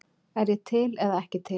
Er ég til eða ekki til?